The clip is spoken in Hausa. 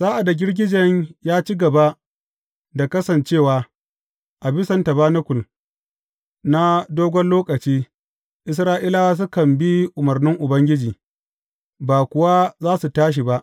Sa’ad da girgijen ya ci gaba da kasancewa a bisan tabanakul na dogon lokaci, Isra’ilawa sukan bi umarnin Ubangiji, ba kuwa za su tashi ba.